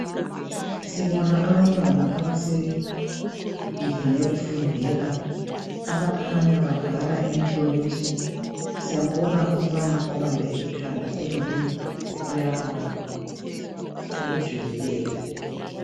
Sibona abantwana abasendlini yokufundela abakhanya babhala imihloliso siyambona umfana obambe ikhanda ongani uyabala okujulileyo .